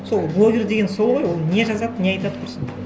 сол блогер деген сол ғой ол не жазады не айтады құрысын